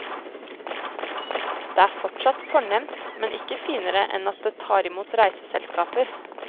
Det er fortsatt fornemt, men ikke finere enn at det tar imot reiseselskaper.